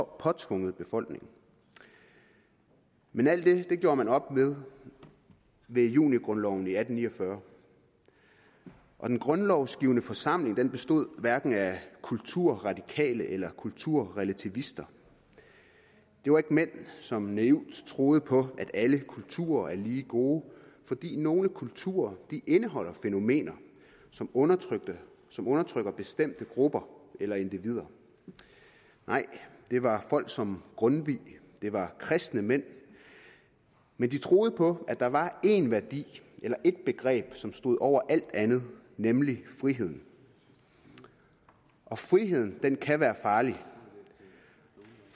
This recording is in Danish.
påtvunget befolkningen men alt det gjorde man op med ved junigrundloven i atten ni og fyrre og den grundlovsgivende forsamling bestod hverken af kulturradikale eller kulturrelativister det var ikke mænd som naivt troede på at alle kulturer er lige gode fordi nogle kulturer indeholder fænomener som undertrykker som undertrykker bestemte grupper eller individer nej det var folk som grundtvig det var kristne mænd men de troede på at der var én værdi eller ét begreb som stod over alt andet nemlig frihed friheden kan være farlig